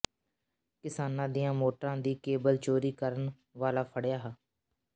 ਕਿਸਾਨਾਂ ਦੀਆਂ ਮੋਟਰਾਂ ਦੀ ਕੇਬਲ ਚੋਰੀ ਕਰਨ ਵਾਲਾ ਫੜਿ੍ਹਆ